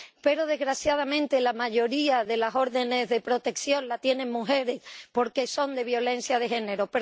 pero, desgraciadamente, la mayoría de las órdenes de protección las tienen mujeres, porque son de violencia de género.